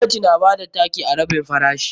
Gwamnati na bada taki a rabin farashi.